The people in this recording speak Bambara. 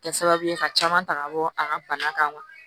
Kɛ sababu ye ka caman ta ka bɔ a ka bana kan